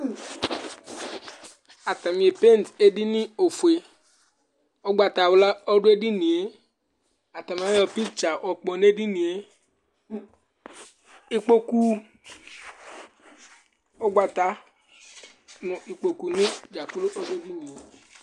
Ataŋi epeint ɛɖìní ɔfʋe Ugbatawla ɔɖu ɛɖìníe Ataŋi ayʋ picture yɔkpɔ ŋu edinie Ikpoku, ʋgbata ŋʋ ikpoku ŋi dza kplo ɔɖu ɛɖìníe